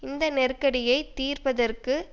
இந்த நெருக்கடியை தீர்ப்பதற்கு